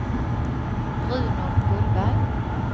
Bruno Gullberg